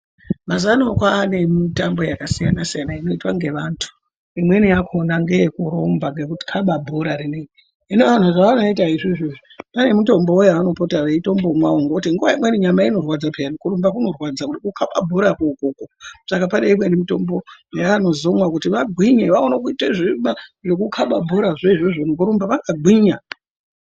Mazuwano kwaane mitambo yakasiyanasiyana inoitwa ngevantu imweni yakona ngeekurumba, nekukaba bhorarinoiri, hino vantu zvanoita izvozvo pane mitombo yaanopota veitombomwawo ngekuti nguwa imweni nyama inorwadza peyani kurumba kunorwadza, kukaba bhora ko ukoko, saka paineimweni mitombo yavanozomwa kuti vagwinye vaone zvekukaba bhora zvoizvozvo vakagwinya.